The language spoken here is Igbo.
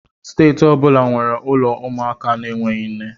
Steeti ọ bụla nwere ụlọ ụmụaka na-enweghị nne